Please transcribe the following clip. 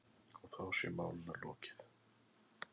Og þá sé málinu lokið.